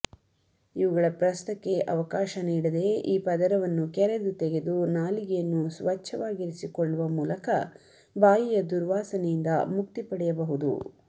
ಇವುಗಳ ಪ್ರಸ್ತಕ್ಕೆ ಅವಕಾಶ ನೀಡದೇ ಈ ಪದರವನ್ನು ಕೆರೆದು ತೆಗೆದು ನಾಲಿಗೆಯನ್ನು ಸ್ವಚ್ಛವಾಗಿರಿಸಿಕೊಳ್ಳುವ ಮೂಲಕ ಬಾಯಿಯ ದುರ್ವಾಸನೆಯಿಂದ ಮುಕ್ತಿ ಪಡೆಯಬಹುದು